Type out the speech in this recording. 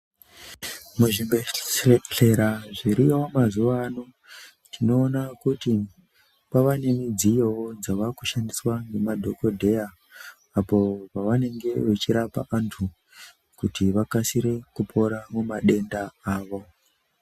Muzvibhe..dhle..dhlera zviriyo mazuva ano tinoona kuti kwava nemudziyowo dzava kushandiswa nemadhokodheya apo pavanenge vachirapa vantu kuti vakasire kupora mumadenda avo.